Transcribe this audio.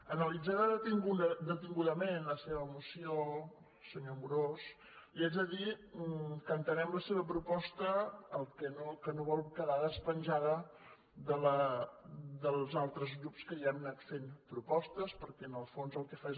analitzada detingudament la seva moció senyor amorós li haig de dir que entenem la seva proposta que no vol quedar despenjada dels altres grups que ja hem anat fent propostes perquè en el fons el que fa és